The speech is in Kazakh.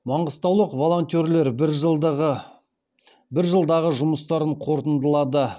маңғыстаулық волонтерлер бір жылдағы жұмыстарын қорытындылады